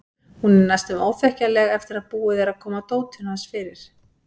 Hún er næstum óþekkjanleg eftir að búið er að koma dótinu hans fyrir.